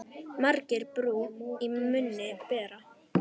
Margir brú í munni bera.